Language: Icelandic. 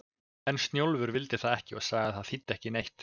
En Snjólfur vildi það ekki og sagði að það þýddi ekki neitt.